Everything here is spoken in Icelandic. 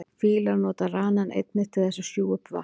Fílar nota ranann einnig til þess að sjúga upp vatn.